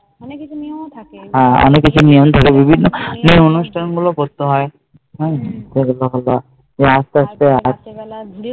অনেকে ইটা নিয়েও থাকে হ্যাঁ অনেকে ইটা নিয়েও যেই অনুষ্ঠান গুলো করতে হয়